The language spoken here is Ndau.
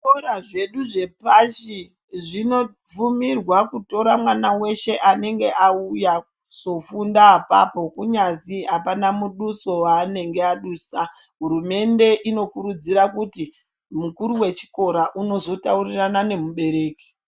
Zvikora zvedu zvepashi zvinobvumirwa kutora mwana weshe unenge auya kuzofunda apapo kunyazwi apana muduso waanenge adusa hurumende inokurudzira kuti mukuru wechikora unozotaurirana nemubereki.